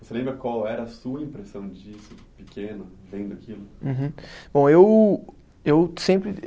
Você lembra qual era a sua impressão disso, pequeno, vendo aquilo? Uhum. Bom eu, eu sempre